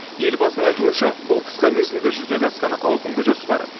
елбасының айтуынша бұл қысқа мерзімде жүзеге асқан ауқымды жоспар